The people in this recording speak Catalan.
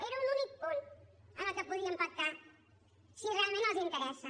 era un únic punt en què podíem pactar si realment els interessa